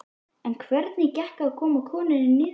En hvernig gekk að koma konunni niður?